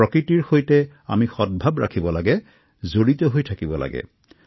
প্ৰকৃতিৰ স্পৰ্শত থকাৰ অভ্যাস গঢ়িব লাগিব